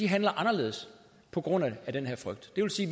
handler anderledes på grund af den her frygt det vil sige